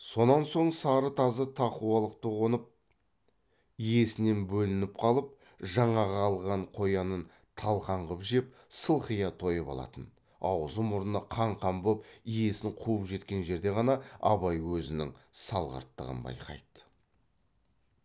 сонан соң сары тазы тақуалықты қонып иесінен бөлініп қалып жаңағы алған қоянын талқан қып жеп сылқия тойып алатын аузы мұрны қан қан боп иесін қуып жеткен жерде ғана абай өзінің салғырттығын байқайды